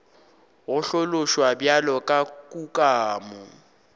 go hlaloswa bjalo ka kukamo